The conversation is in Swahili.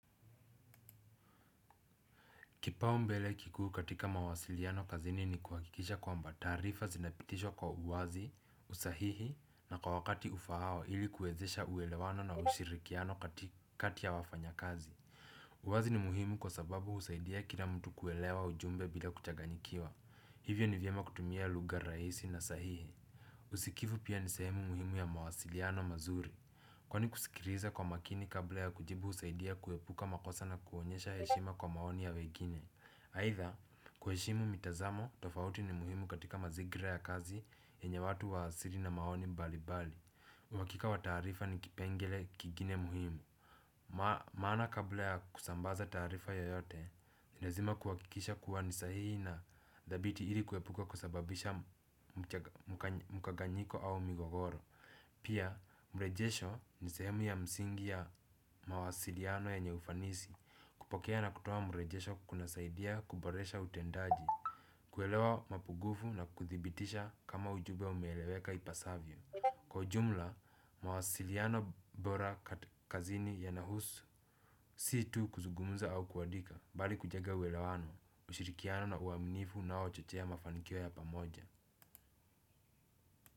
Kipaumbele kikuu katika mawasiliano kazini ni kuhakikisha kwamba taarifa zinapitishwa kwa uwazi, usahihi na kwa wakati ufaao ili kuwezesha uelewano na ushirikiano kati ya wafanyakazi. Uwazi ni muhimu kwa sababu husaidia kila mtu kuelewa ujumbe bila kuchanganyikiwa. Hivyo ni vyema kutumia lugha rahisi na sahihi. Usikivu pia ni sehimu muhimu ya mawasiliano mazuri. Kwani kusikiliza kwa makini kabla ya kujibu husaidia kuepuka makosa na kuonyesha heshima kwa maoni ya wengine. Aidha, kuheshimu mitazamo tofauti ni muhimu katika mazingira ya kazi yenye watu wa asili na maoni mbalimbali. Uhakika wa taarifa ni kipengele kingine muhimu. Maana kabla ya kusambaza taarifa yoyote, ni lazima kuhakikisha kuwa ni sahihi na thabiti ili kuepuka kusababisha mkanganyiko au migogoro. Pia, mrejesho ni sehemu ya msingi ya mawasiliano yenye ufanisi kupokea na kutoa mrejesho kunasaidia kuboresha utendaji. Kuelewa mapungufu na kuthibitisha kama ujumbe umeeleweka ipasavyo kwa ujumla, mawasiliano bora kazini yanahusu si tu kuzungumza au kuandika, bali kujenga uelewano, ushirikiano na uaminifu unaochochea mafanikio ya pamoja.